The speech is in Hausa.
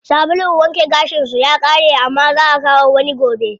Sabulun wanke gashin su ya ƙare amma zaa akawo wani gobe.